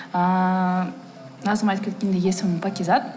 ыыы назым айтып кеткендей есімім пакизат